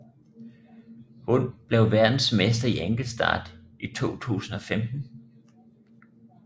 Hun blev verdensmester i enkeltstart i 2015